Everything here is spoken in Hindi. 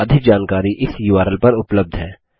अधिक जानकारी इस उर्ल पर उबलब्ध है